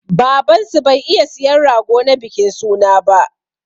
Baban su bai iya siyan rago na bikin suna ba.